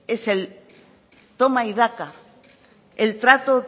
es él toma y daca el trato